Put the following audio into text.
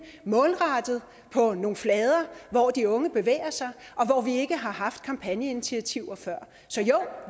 målrettet på nogle flader hvor de unge bevæger sig og hvor vi ikke har haft kampagneinitiativer før så jo